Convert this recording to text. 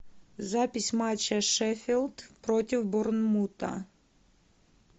запись матча шеффилд против борнмута